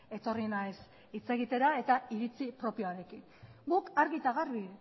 etorri naiz hitz egitera eta iritzi propioarekin guk argi eta garbi